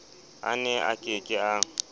a ne a ke ke